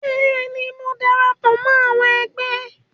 Bẹ́ẹ̀ ni, mo darapọ̀ mọ́ àwọn ẹgbẹ́